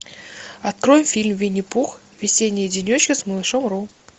открой фильм винни пух весенние денечки с малышом ру